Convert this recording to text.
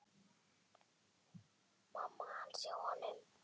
Þér kemur það ekki við.